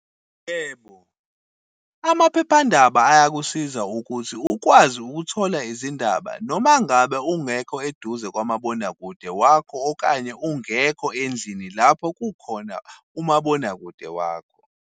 Yebo, amaphephandaba ayakusiza ukuthi ukwazi ukuthola izindaba, noma ngabe ungekho eduze kwamabonakude wakho, okanye ungekho endlini lapho kukhona umabonakude wakho.